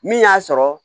Min y'a sɔrɔ